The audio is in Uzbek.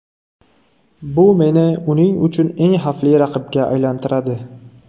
Bu meni uning uchun eng xavfli raqibga aylantiradi.